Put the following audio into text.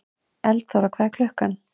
Eldþóra, hvað er klukkan?